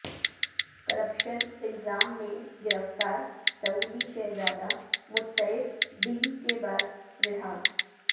corruption الزام میں گرفتار سعودی شہزادہ متعب ڈیل کے بعد رہا